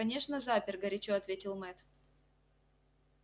конечно запер горячо ответил мэтт